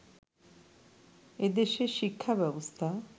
এদেশের শিক্ষা ব্যবস্থা